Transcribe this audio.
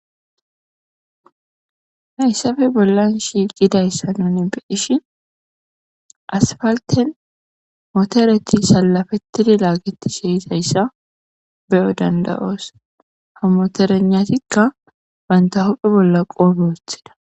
Hayisappe bolan shiiqidasa nu beishen asipalten motereti salapetidi lagetishe deizayisa beo dandaos ha moteregnatika banta huphe bola qobe wotida.